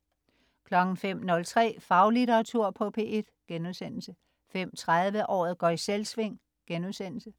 05.03 Faglitteratur på P1* 05.30 Året går i Selvsving*